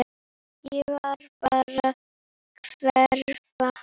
Ég vil bara hverfa.